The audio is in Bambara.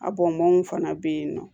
A bɔnmɔnw fana be yen nɔ